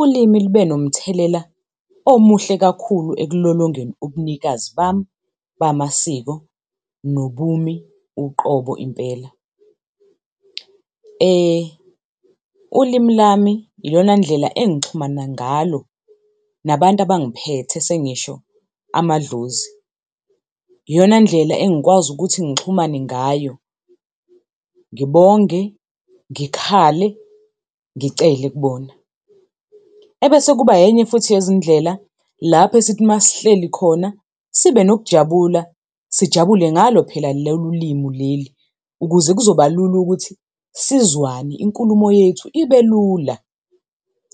Ulimi lube nomthelela omuhle kakhulu ekulolongeni ubunikazi bami bamasiko, nobumi uqobo impela. Ulimi lami iyona ndlela engixhumana ngalo nabantu abangiphethe, sengisho amadlozi. Iyona ndlela engikwazi ukuthi ngixhumane ngayo, ngibonge, ngikhale, ngicele kubona. Ebese kuba enye futhi yezindlela lapho esithi masihleli khona sibe nokujabula, sijabule ngalo phela lolu limi leli, ukuze kuzobalula ukuthi sizwane, inkulumo yethu ibe lula.